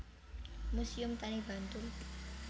Muséum Tani Bantul